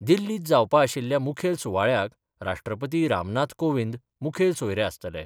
दिल्लींत जावपा आशिल्ल्या मुखेल सुवाळ्याक राष्ट्रपती राम नाथ कोविंद मुखेल सोयरे आसतले.